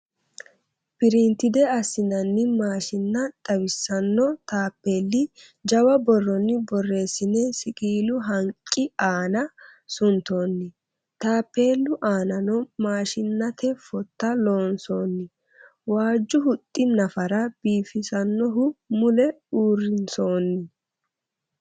Printed assinanni maashinna xawisanno taappeelli jawa borronni boteessine siqiilu haqqi aana suntoonni. Taappeelli aanano maashshinnate footta loonsoonni. waajju huxxi nafara biifisannuhu mule uurrinsoonni.